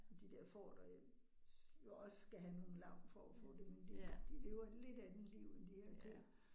De der får, der jo også skal have nogle lam for at få det, men de de lever et lidt andet liv end de her køer